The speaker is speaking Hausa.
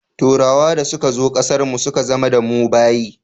Turawa da suka zo ƙasar mu suka zama da mu bayi